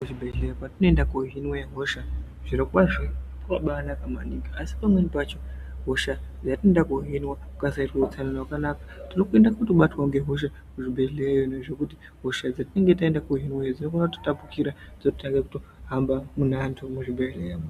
Kuzvibhedhlera kwatinoende kunohinwa hosha zviro kwazvo kwakabaanaka maningi asi pamweni pacho hosha yatinoenda kohinwa kukasaitwa utsanana hwakanaka tinokone kutobatwawo ngehosha kuzvibhedhlera ngekuti hosha dzatinenge taenda kohinwa dzinogona kutitapukira dzototanga kutohamba mune antu muzvibhedhlera .